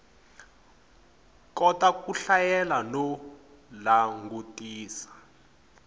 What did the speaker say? kota ku hlayela no langutisela